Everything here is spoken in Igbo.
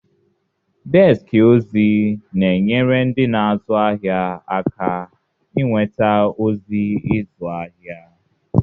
Deski ozi na-enyere ndị na-azụ ahịa aka inweta ozi ịzụ ahịa.